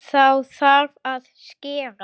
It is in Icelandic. Þá þarf að skera.